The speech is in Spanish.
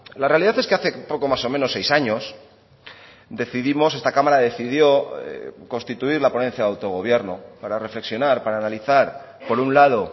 la realidad es que hace poco más o menos seis años decidimos esta cámara decidió constituir la ponencia de autogobierno para reflexionar para analizar por un lado